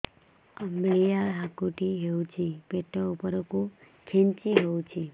ଅମ୍ବିଳା ହେକୁଟୀ ହେଉଛି ପେଟ ଉପରକୁ ଖେଞ୍ଚି ହଉଚି